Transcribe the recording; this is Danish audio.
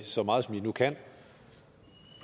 så meget som de nu kan